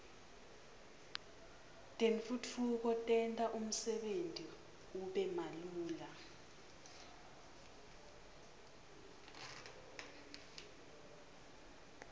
tentfutfuko tenta umsebenti ube malula